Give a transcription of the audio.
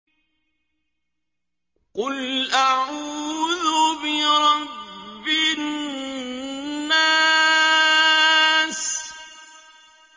قُلْ أَعُوذُ بِرَبِّ النَّاسِ